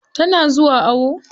Tana zuwa awo?